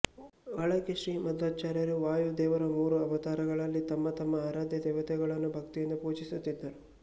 ಒಳಗೆ ಶ್ರೀ ಮಧ್ವಾಚಾರ್ಯರು ವಾಯು ದೇವರ ಮೂರೂ ಅವತಾರಗಳಲ್ಲಿ ತಮ್ಮ ತಮ್ಮ ಆರಾಧ್ಯ ದೇವತೆಗಳನ್ನು ಭಕ್ತಿಯಿಂದ ಪೂಜಿಸುತ್ತಿದ್ದರು